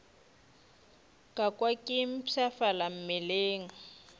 ka kwa ke mpshafala mmeleng